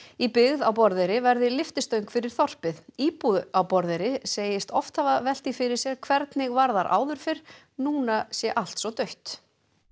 í byggð á Borðeyri verði lyftistöng fyrir þorpið íbúi á Borðeyri segist oft hafa velt því fyrir sér hvernig var þar áður fyrr núna sé allt svo dautt